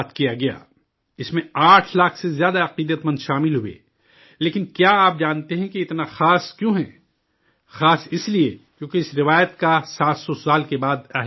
اس میں آٹھ لاکھ سے زیادہ عقیدت مند شامل ہوئے لیکن کیا آپ جانتے ہیں کہ یہ اتنا خاص کیوں ہے؟ خاص اس لیے، کیوں کہ اس روایت کو 700 سال کے بعد دوبارہ زندہ کیا گیا ہے